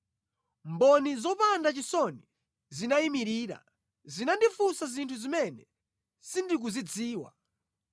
Mboni zopanda chisoni zinayimirira, zinandifunsa zinthu zimene sindikuzidziwa.